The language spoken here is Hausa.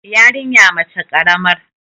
yarinya mace karamar